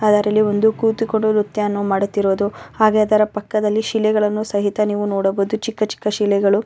ಅದರಲ್ಲಿ ಒಂದು ಕೂತಿಕೊಂಡು ನ್ರತ್ಯವನ್ನು ಮಾಡುತ್ತಿರುವುದು ಹಾಗೆ ಅದರ ಪಕ್ಕದಲ್ಲಿ ಶಿಲೆಗಳನ್ನು ಸಹಿತ ನೀವು ನೋಡಬಹುದು ಚಿಕ್ಕ ಚಿಕ್ಕ ಶಿಲೆಗಳು.